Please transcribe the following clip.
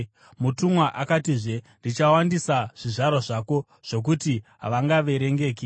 Mutumwa akatizve, “Ndichawandisa zvizvarwa zvako zvokuti havangaverengeki.”